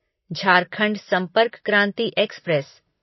झारखंड संपर्क क्रांति एक्सप्रेस